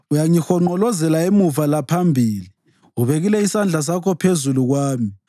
Uyangihonqolozela emuva laphambili; ubekile isandla sakho phezu kwami.